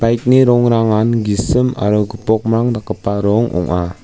bike-ni rongrangan gisim aro gipokmrang dakgipa rong ong·a.